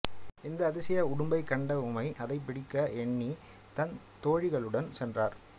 இந்த அதிசய உடும்பைக் கண்ட உமை அதைப் பிடிக்க எண்ணி தன் தோழிகளுடன் சென்றார்